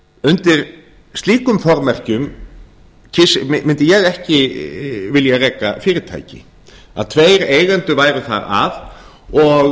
undir slíkum formerkjum mundi ég ekki vilja reka fyrirtæki að tveir eigendur væru þar að og